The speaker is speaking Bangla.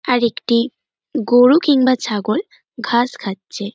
আর একটি গরু কিংবা ছাগল ঘাস খাচ্ছে।